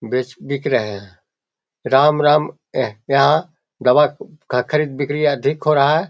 बेच बिक रहे हैं राम-राम दवा का खरीद बिक्री अधिक हो रहा है।